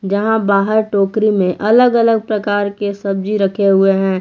जहां बाहर टोकरी मे अलग अलग प्रकार के सब्जी रखे हुए हैं।